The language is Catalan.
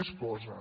més coses